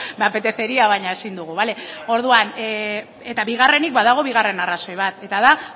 me apetecería baina ezin dugu eta bigarrenik badago bigarren arrazoi bat eta da